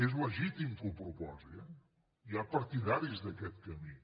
és legítim que ho proposi eh hi ha partidaris d’aquest camí